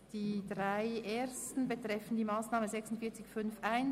Die drei ersten Anträge betreffen die Massnahme 46.5.1.